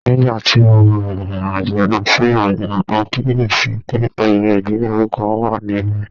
Nígbà tí mo rìnrìn àjò lọ sí Oyo, mo kíyè sí i pé ayẹyẹ ìgbéyàwó kan wà níbẹ̀